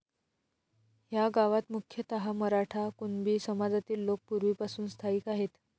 ह्या गावात मुख्यतः मराठा, कुणबी समाजातील लोक पूर्वीपासून स्थायिक आहेत.